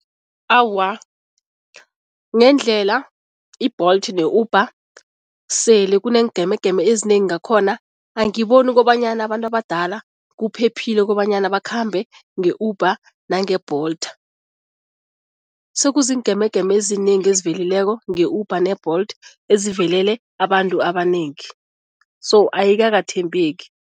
Awa, ngendlela i-Bolt ne-Uber sele kuneengemegeme ezinengi ngakhona, angiboni kobanyana abantu abadala kuphephile kobanyana bakhambe nge-Uber nange-Bolt. Sekuziingemegeme ezinengi ezivelileko nge-Uber ne-Bolt ezivelele abantu abanengi so ayikakathembeki.